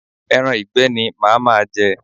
Ẹran ìgbẹ́ ni màá ma je.